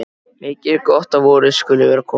Mikið er gott að vorið skuli vera komið.